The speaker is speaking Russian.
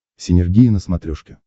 синергия на смотрешке